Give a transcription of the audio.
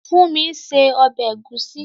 Fúnmi ń se ọbẹ̀ ẹ̀gúsí